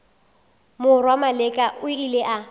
morwa maleka o ile a